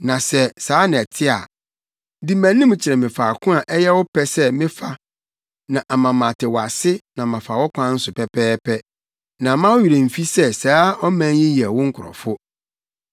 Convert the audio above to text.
Na sɛ saa na ɛte a, di mʼanim kyerɛ me faako a ɛyɛ wo pɛ sɛ mefa na ama mate wo ase na mafa wo kwan so pɛpɛɛpɛ. Na mma wo werɛ mfi sɛ saa ɔman yi yɛ wo nkurɔfo.”